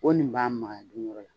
Ko nin b'a makaya dun yɔrɔ la